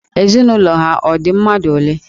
Ezinụlọ ha ọ dị mmadụ ole?